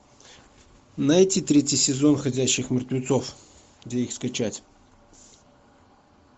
найти третий сезон ходячих мертвецов где их скачать